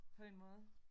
På en måde